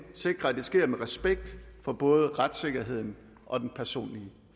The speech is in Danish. sikrer at det sker med respekt for både retssikkerheden og den personlige